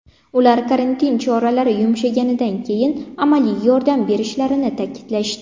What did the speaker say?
Ular karantin choralari yumshaganidan keyin amaliy yordam berishlarini ta’kidlashdi.